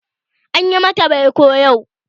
Anyi mata baiko yau